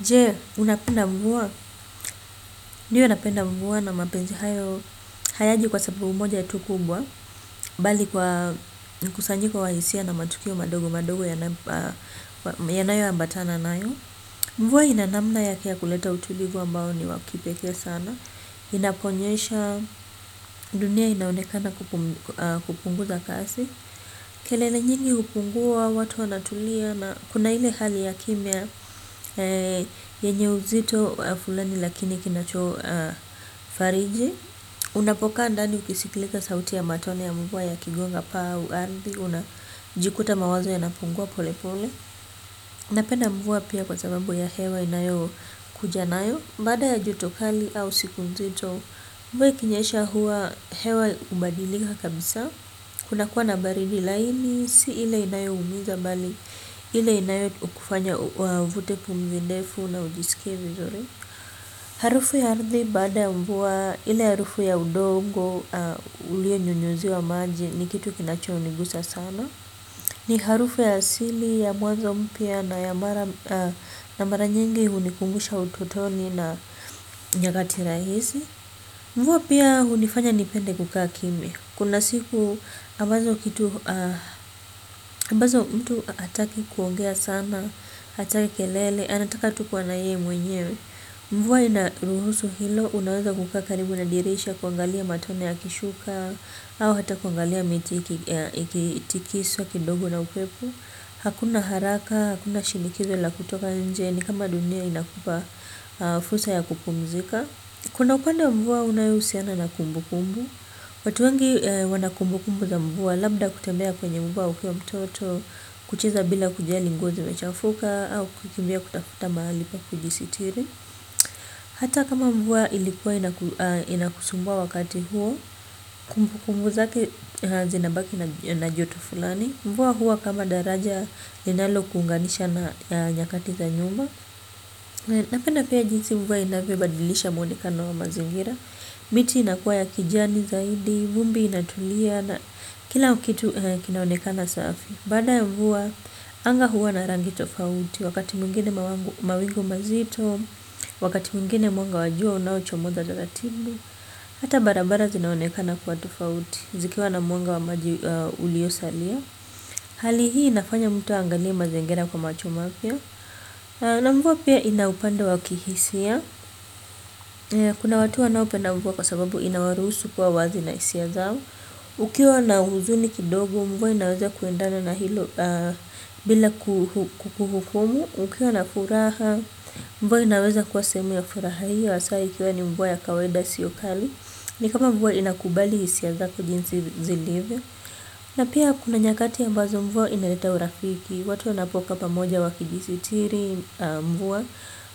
Je, unapenda mvua, ndio napenda mvua na mapenzi hayo, hayaji kwa sababu moja tu kubwa, bali kwa mkusanyiko wa hisia na matukio madogo madogo yanayo ambatana nayo. Mvua ina namna yake ya kuleta utulivu ambao ni wa kipekee sana, inaponyesha dunia inaonekana kupunguza kasi. Kelele nyingi hupungua, watu wanatulia na kuna ile hali ya kimya yenye uzito fulani lakini kinachofariji. Unapokaa ndani ukisiklika sauti ya matone ya mvua yakigonga paa au ardhi unajikuta mawazo yanapungua pole pole napenda mvua pia kwa sababu ya hewa inayokuja nayo baada ya joto kali au siku nzito mvua ikinyesha huwa hewa hubadilika kabisaa kunakuwa na baridi laini si ile inayoumiza bali ile inayokufanya uvute pumzi ndefu na ujisikie vizuri. Harufu ya ardhi, baada ya mvua, ile harufu ya udongo, ulionyonyuziwa maji, ni kitu kinachonigusa sana. Ni harufu ya asili, ya mwazo mpya, na mara nyingi, hunikumbusha utotoni na nyakati rahisi. Mvua pia, hunifanya nipende kukaa kimya. Kuna siku ambazo kitu, ambazo mtu hataki kuongea sana, hataki kelele, anataka tu kuwa na yeye mwenyewe. Mvuwa inaruhusu hilo, unaweza kukaa karibu na dirisha, kuangalia matone yakishuka, au hata kuangalia miti ikitikiswa, kidogo na upepo. Hakuna haraka, hakuna shinikizo la kutoka nje, ni kama dunia inakupa fursa ya kupumzika. Kuna upande wa mvua unayohusiana na kumbukumbu. Watu wengi wana kumbukumbu za mvua labda kutembea kwenye mvua ukiwa mtoto kucheza bila kujali nguo zimechafuka au kukimbia kutafuta mahali pa kujisitiri hata kama mvua ilikuwa inakusumbua wakati huo kumbukumbu zake zinabaki na joto fulani mvua huwa kama daraja linalokuunganisha na nyakati za nyuma. Napenda pia jinsi mvua inavyobadilisha maonekano wa mazingira miti inakuwa ya kijani zaidi, vumbi inatulia na kila kitu kinaonekana safi baada ya mvua, anga huwa na rangi tofauti wakati mwingine mawingu mazito, wakati mwingine mwanga wa jua unaochomoza za ratibu hata barabara zinaonekana kuwa tofauti zikiwa na mwanga wa maji uliosalia hali hii inafanya mtu aangalie mazingira kwa macho mapya na mvua pia ina upande wa kihisia. Kuna watu wanaopenda mvua kwa sababu inawarusu kuwa wazi na hisia zao. Ukiwa na huzuni kidogo mvua inaweza kuendana na hilo bila kuhukumu. Ukiwa na furaha mvua inaweza kuwa sehemu ya furaha hiyo hasa ikiwa ni mvua ya kawaida isiyo kali. Ni kama mvua inakubali hisia zako jinsi zilivyo. Na pia kuna nyakati ambazo mvua inaleta urafiki. Watu wanapokaa pamoja wakijisitiri mvua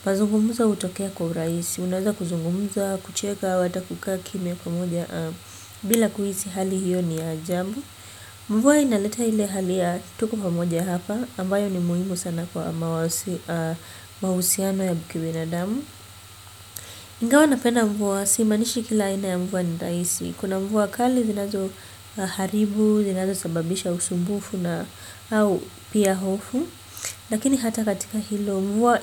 mazungumzo hutokea kwa urahisi unaweza kuzungumza, kucheka, au hata kukaa kimya pamoja, bila kuhisi hali hiyo ni ya ajabu. Mvua inaleta ile hali ya tuko pamoja hapa ambayo ni muhimu sana kwa mahusiano ya kibinadamu ingawa napena mvua, simaanishi kila aina ya mvua ni rahisi. Kuna mvua kali zinazoharibu, zinazosababisha usumbufu na au pia hofu. Lakini hata katika hilo mvua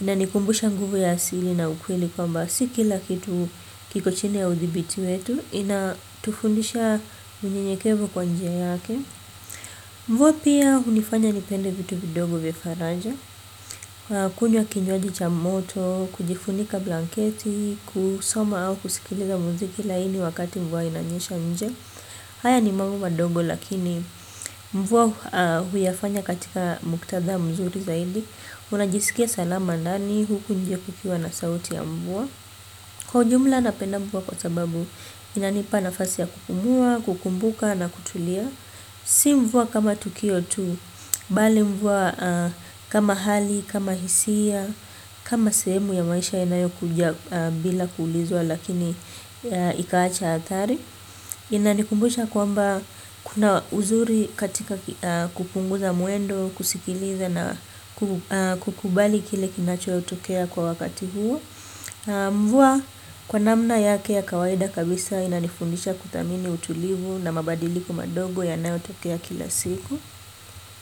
inanikumbusha nguvu ya asili na ukweli kwamba s ikila kitu kiko chini ya udhibiti wetu inatufundisha unyenyekevu kwa njia yake. Mvua pia hunifanya nipende vitu vidogo vya faraja. Kunywa kinywaji cha moto kujifunika blanketi kusoma au kusikiliza muziki laini wakati mvua inanyesha nje. Haya ni mambo madogo lakini mvua huyafanya katika muktadha mzuri zaidi. Unajisikia salama ndani huku nje kukiwa na sauti ya mvua. Kwa ujumla napenda mvua kwa sababu inanipa nafasi ya kupumua, kukumbuka na kutulia. Si mvua kama tukio tu, bali mvua kama hali, kama hisia, kama sehemu ya maisha yanayokuja bila kuulizwa lakini ikaacha athari. Inanikumbusha kwamba kuna uzuri katika kupunguza mwendo, kusikiliza na kukubali kile kinachotokea kwa wakati huo. Mvua kwa namna yake ya kawaida kabisa inanifundisha kuthamini utulivu na mabadiliko madogo yanayotokea kila siku.